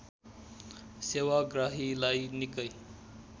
सेवाग्राहीलाई निकै